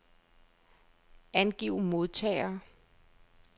Angiv modtagere.